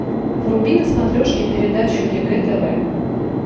вруби на смотрешке передачу егэ тв